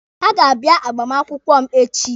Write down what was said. Ha ga-abịa agbamakwụkwọ m echi.